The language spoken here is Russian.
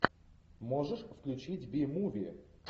можешь включить би муви